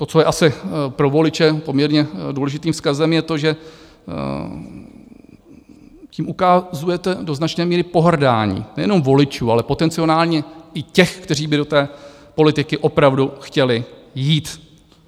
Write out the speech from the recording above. To, co je asi pro voliče poměrně důležitým vzkazem, je to, že tím ukazujete do značné míry pohrdání nejenom voliči, ale potenciálně i těmi, kteří by do té politiky opravdu chtěli jít.